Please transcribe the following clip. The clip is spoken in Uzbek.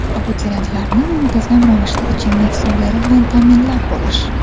Abituriyentlarni muntazam ravishda ichimlik suvlari bilan ta’minlab borish.